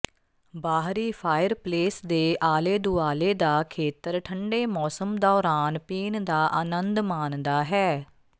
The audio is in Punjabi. ਬਾਹਰੀ ਫਾਇਰਪਲੇਸ ਦੇ ਆਲੇ ਦੁਆਲੇ ਦਾ ਖੇਤਰ ਠੰਢੇ ਮੌਸਮ ਦੌਰਾਨ ਪੀਣ ਦਾ ਅਨੰਦ ਮਾਣਦਾ ਹੈ